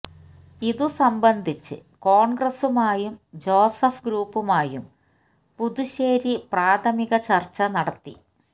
ഇതു സംബന്ധിച്ച് കോൺഗ്രസുമായും ജോസഫ് ഗ്രൂപ്പുമായും പുതുശേരി പ്രാഥമിക ചർച്ച നടത്തി